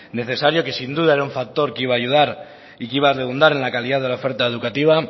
necesario que sin duda era un factor que iba a ayudar y que iba a redundar en la calidad de la oferta educativa